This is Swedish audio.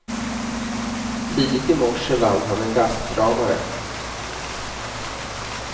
Tidigt i morse vann han en gastkramare.